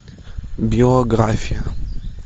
биография